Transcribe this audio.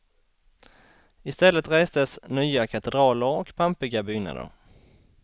Istället restes nya katedraler och pampiga byggnader.